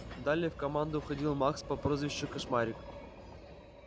далее в команду входил макс по прозвищу кошмарик